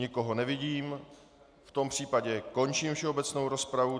Nikoho nevidím, v tom případě končím všeobecnou rozpravu.